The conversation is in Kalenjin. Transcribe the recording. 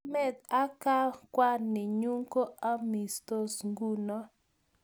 KAMET AK KWANINYU KO AMISTOS NGUNO